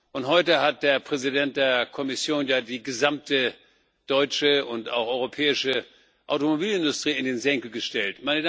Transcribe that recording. Und heute hat der Präsident der Kommission ja die gesamte deutsche und europäische Automobilindustrie in den Senkel gestellt.